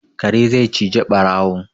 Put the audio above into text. Kare zai cije ɓarawo